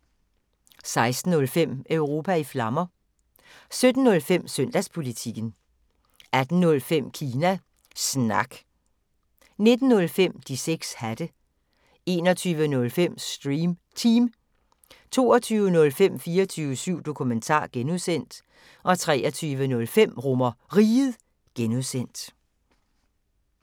16:05: Europa i Flammer 17:05: Søndagspolitikken 18:05: Kina Snak 19:05: De 6 hatte 21:05: Stream Team 22:05: 24syv Dokumentar (G) 23:05: RomerRiget (G)